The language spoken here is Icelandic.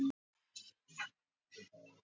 Þinn Skapti Örn. Elsku afi.